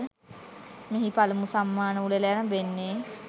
මෙහි පළමු සම්මාන උළෙල ඇරඹෙන්නේ.